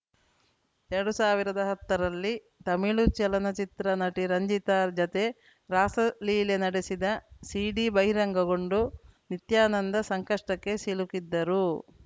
ಎರಡು ಸಾವಿರದ ಹತ್ತರಲ್ಲಿ ತಮಿಳು ಚಲನಚಿತ್ರ ನಟಿ ರಂಜಿತಾ ಜತೆ ರಾಸಲೀಲೆ ನಡೆಸಿದ ಸಿಡಿ ಬಹಿರಂಗಗೊಂಡು ನಿತ್ಯಾನಂದ ಸಂಕಷ್ಟಕ್ಕೆ ಸಿಲುಕಿದ್ದರು